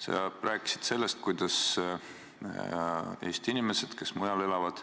Sa rääkisid sellest, kuidas Eesti inimesed, kes mujal elavad,